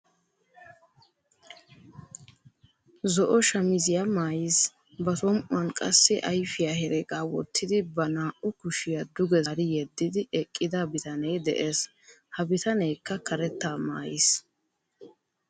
Zo"o shamisiyaa mayiis. Ba som"uwaan qassi afiyaa heregaa woottidi ba naa"u kushiyaa duge zaari yeedidi eqqida bitanee de'ees. Ha bitaneekka karettaa maayiis.